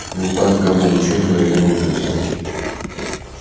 ну так вот гамма лучи мгновенно убьют тебя